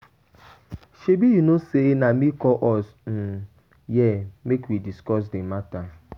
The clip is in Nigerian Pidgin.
Shebi you know say na me call us[um] here make we discuss the matter